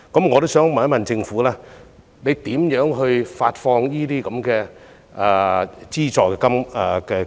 我也想問政府會怎樣發放資助金額？